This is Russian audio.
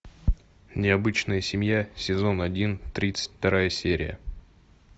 необычная семья сезон один тридцать вторая серия